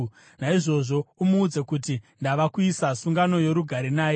Naizvozvo umuudze kuti ndava kuita sungano yorugare naye.